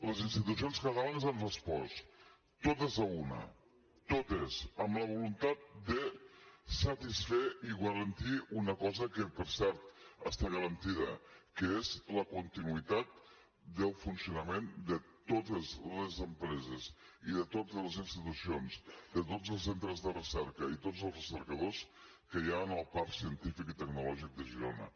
les institucions catalanes han respost totes a una totes amb la voluntat de satisfer i garantir una cosa que per cert està garantida que és la continuïtat del funcionament de totes les empreses i de totes les institucions de tots els centres de recerca i tots els recercadors que hi ha en el parc científic i tecnològic de girona